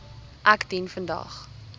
ek dien vandag